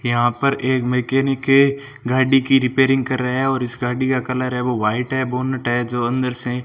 यहां पर एक मैकेनिक के गाड़ी की रिपेयरिंग कर रहा है और इस गाड़ी का कलर है वो व्हाइट है बोनट है जो अंदर से --